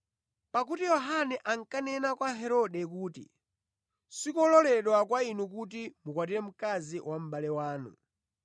Pakuti Yohane ankanena kwa Herode kuti, “Sikololedwa kwa inu kuti mukwatire mkazi wa mʼbale wanu.”